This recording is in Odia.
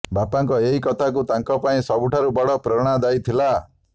ବାପାଙ୍କ ଏହି କଥାକୁ ତାଙ୍କ ପାଇଁ ସବୁଠାରୁ ବଡ ପ୍ରେରଣାଦାୟୀ ଥିଲା